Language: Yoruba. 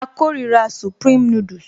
A kórira supreme noodles